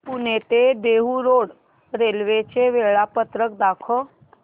पुणे ते Dehu road railway चे वेळापत्रक दाखव